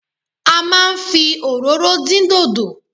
A máa ń fi òróró dín dòdò.